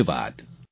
ધન્યવાદ